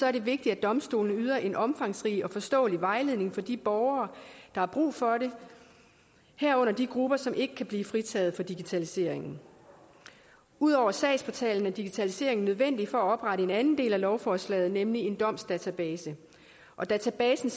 er det vigtigt at domstolene yder en omfangsrig og forståelig vejledning for de borgere der har brug for det herunder de grupper som ikke kan blive fritaget for digitaliseringen ud over sagsportalen er digitaliseringen nødvendig for at oprette en anden del af lovforslaget nemlig en domsdatabase databasen